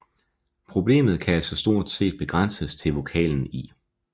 Problemet kan altså stort ses begrænses til vokalen i